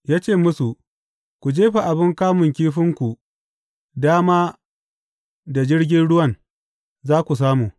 Ya ce musu, Ku jefa abin kamun kifinku dama da jirgin ruwan, za ku samu.